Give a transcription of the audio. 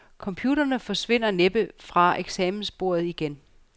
Computerne forsvinder næppe fra eksamensbordet igen.